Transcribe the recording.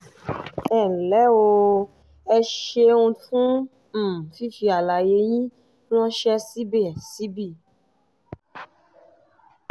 ẹ ǹlẹ́ o! ẹ ṣeun fún um fífi àlàyé yín ránṣẹ́ síbí síbí